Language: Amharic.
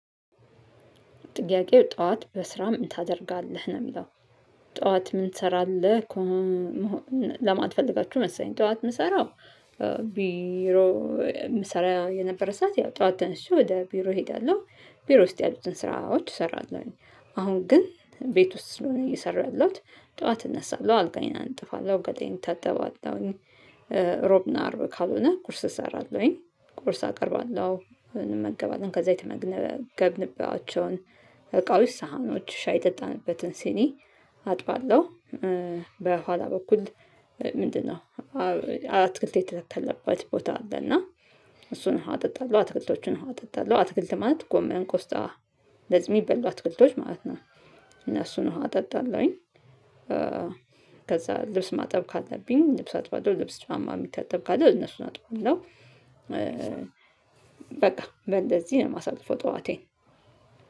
ጥያቄው ጠዋት በስራ ምን ታደርጋለህ ነው ሚለው? ጠዋት ምን ትሰራለህ ከሆነ ለማትፈልጋችሁ መሰለኝ ጠዋት ምሰራው ቢሮ ምሰራ የነበረ ሰዓት ያው ጠዋት ተነስቼ ወደ ቢሮ ሄዳለሁ ቢሮ ውስጥ ያሉትን ስራዎች እሰራለሁኝ። አሁን ግን ቤት ውስጥ ስለሆነ እየሰራሁ ያለሁት ጠዋት እነሳለሁ አልጋዬን አነጥፋለሁ ገላየን እታጠባለሁ። ሮብና አርብ ካልሆነ ቁርስ እሰራለሁኝ ቁርስ አቀርባለሁ እንመገባለን ከዛ የተመገብንባቸውን እቃዎች ሳህኖች ሻይ የጠጣንበትን ሲኒ አጥባለሁ። በኋላ በኩል ምንድነው? አትክልት የተተከለበት ቦታ አለ እና እሱን አጠጣለሁ አትክልቶቹን አጠጣለሁ አትክልት ማለት ጎመን ቆስጣ እነዚህ ሚበሉ አትክልቶች ማለት ነው። እነሱን ውሃ ጠጣላሁኝ። ከዛ ልብስ ማጠብ ካለብኝ ልብስ አጥባለሁ ልብስ ጫማ የሚታጠብ ካለ እነሱን አጥባለሁ። በቃ በንደዚህ ነው ማሳልፈው ጠዋቴን።